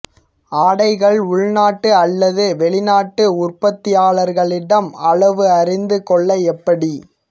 ஆடைகள் உள்நாட்டு அல்லது வெளிநாட்டு உற்பத்தியாளர்களிடம் அளவு அறிந்து கொள்ள எப்படி